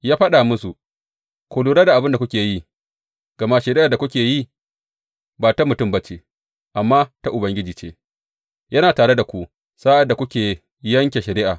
Ya faɗa musu, Ku lura da abin da kuke yi, gama shari’ar da kuke yi ba ta mutum ba ce, amma ta Ubangiji ce, yana tare da ku sa’ad da kuke yanke shari’a.